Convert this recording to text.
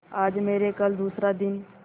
आज मरे कल दूसरा दिन